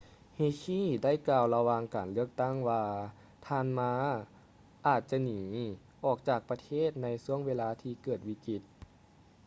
hsieh ໄດ້ກ່າວລະຫວ່າງການເລືອກຕັ້ງວ່າທ່ານ ma ອາດຈະໜີອອກຈາກປະເທດໃນຊ່ວງເວລາທີ່ເກີດວິກິດ